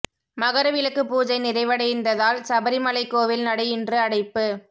மகர விளக்கு பூஜை நிறைவடைந்ததால் சபரிமலை கோவில் நடை இன்று அடைப்பு